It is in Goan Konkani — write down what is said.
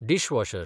डिसवॉशर